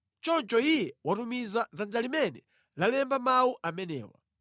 Choncho Iye watumiza dzanja limene lalemba mawu amenewa.